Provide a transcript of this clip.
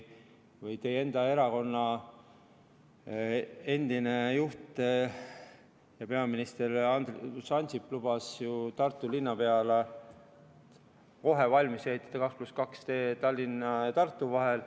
Teie enda erakonna endine juht ja peaminister Andrus Ansip lubas ju Tartu linnapeale kohe valmis ehitada 2 + 2 tee Tallinna ja Tartu vahel.